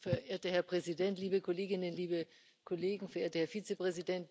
Herr Präsident, liebe Kolleginnen, liebe Kollegen, Herr Vizepräsident!